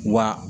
Wa